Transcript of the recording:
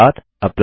step 7